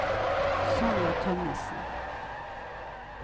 Sonja Tønnesen